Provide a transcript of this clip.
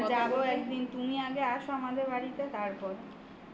না না যাবো একদিন তুমি আগে আসো আমাদের বাড়িতে তারপরে